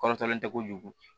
Kɔrɔtɔlen tɛ kojugu